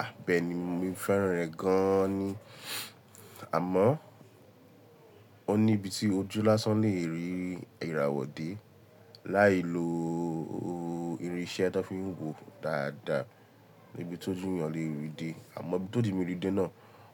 À bẹ́ẹ̀ni mo fẹ́ràn rẹ̀ gan an ni, àmọ́ oní ibi tí ojú lásán lè rí ìràwọ̀ dé. Láì lo irinṣẹ́ tó fi ń wo dáadáa ni ibi tó jù yàn lè rí dé, àmọ́ ibí tó di mi rí dé náà,